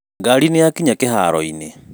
ngari nene nĩyakinya kĩharo-inĩ